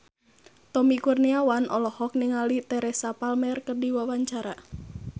Tommy Kurniawan olohok ningali Teresa Palmer keur diwawancara